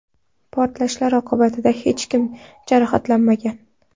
Portlashlar oqibatida hech kim jarohatlanmagan.